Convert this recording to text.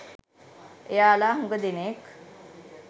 එයාලා හුඟ දෙනෙක්